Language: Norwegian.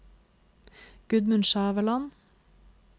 Gudmund Skjæveland